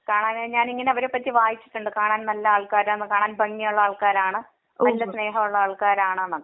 കാരണം ഞാനിങ്ങനെ അവരെ പറ്റി വായിച്ചിട്ടുണ്ട്. കാണാൻ നല്ല ആൾകാർ ആണ് കാണാൻ ഭംഗിയുള്ള ആൾകാർ ആണ്. നല്ല സ്നേഹം ഉള്ള ആൾകാർ ആണ് എന്നൊക്കെ